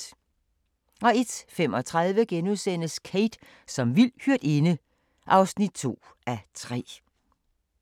01:35: Kate som vild hyrdinde (2:3)*